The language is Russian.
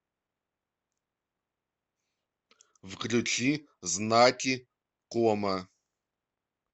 включи знаки кома